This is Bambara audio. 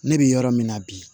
Ne bɛ yɔrɔ min na bi